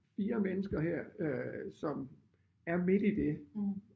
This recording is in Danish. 4 mennesker her øh som er midt i det